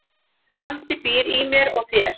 Andi býr í mér og þér.